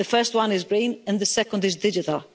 The first one is green and the second is digital.